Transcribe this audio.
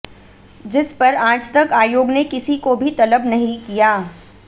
जिसपर आजतक आयोग ने किसी को भी तलब नहीं किया